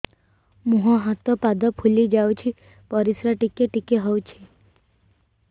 ମୁହଁ ହାତ ପାଦ ଫୁଲି ଯାଉଛି ପରିସ୍ରା ଟିକେ ଟିକେ ହଉଛି